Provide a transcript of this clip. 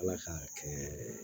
Ala k'a kɛ